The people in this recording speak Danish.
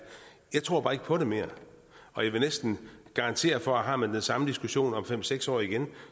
jeg tror bare ikke på det mere og jeg vil næsten garantere for at har man den samme diskussion om fem seks år igen